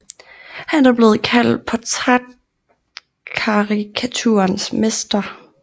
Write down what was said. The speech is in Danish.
Han er blevet kaldt portrætkarikaturens mester